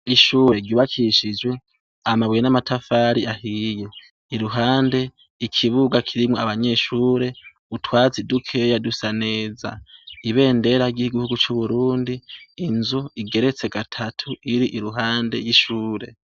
Ishuri ryubakishije amabuye n''amatafari ahiye iruhande ikibuga kirimwo abanyeshuri utwatsi dukeya dusa neza ibendera ry'igihugu c'Uburundi inzu igereste gatatu iri iruhande y'ishuri.